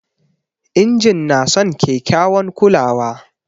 Injin na son kekyawan kulawa